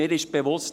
Mir ist bewusst: